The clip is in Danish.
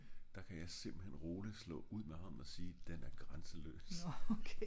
der kan jeg simpelthen roligt slå ud med armen og sige at den er grænseløs